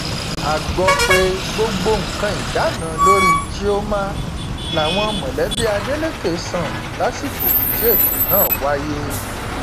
a gbọ pé gbogbo nǹkan ìdáná lórí chioma làwọn mọlẹbí adeleke san lásìkò tí ètò náà wáyé